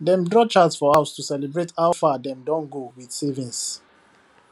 dem draw chart for house to celebrate how far dem don go with savings